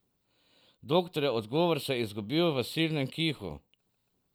Doktorjev odgovor se je izgubil v silnem kihu.